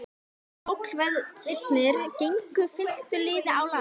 Tollverðirnir gengu fylktu liði á land.